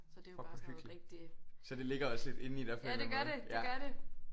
Fuck hvor hyggeligt så det ligger også lidt indeni dig på en eller anden måde ja